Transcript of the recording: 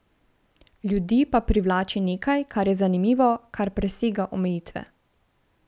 Ljudi pa privlači nekaj, kar je zanimivo, kar presega omejitve ...